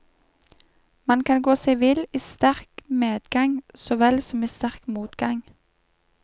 Man kan gå seg vill i sterk medgang så vel som i sterk motgang.